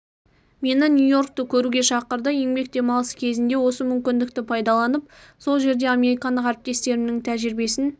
мені нью-йоркті көруге шақырды еңбек демалысы кезінде осы мүмкіндікті пайдаланып сол жерде американдық ріптестерімнің тәжірибесін